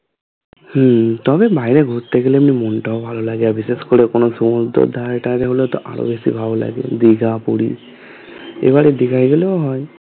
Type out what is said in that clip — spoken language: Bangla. হম তবে বাইরে ঘুরতে গেলে এমনি মনটাও ভালো লাগে আর বিশেষ করে কোন সুমুদ্রর ধারে তারে হলে তো আরো বেশি ভালো লাগে দীঘা পুরী এবারে দিঘা গেলেও হয়